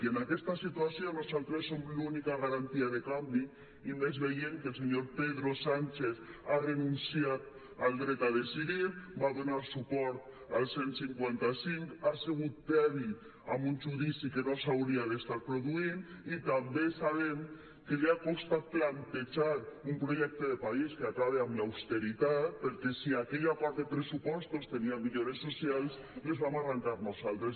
i en aquesta situació nosaltres som l’única garantia de canvi i més veient que el senyor pedro sánchez ha renunciat al dret a decidir va donar suport al cent i cinquanta cinc ha sigut tebi amb un judici que no s’hauria d’estar produint i també sabem que li ha costat plantejar un projecte de país que acabi amb l’austeritat perquè si aquell acord de pressupostos tenia millores socials les vam arrencar nosaltres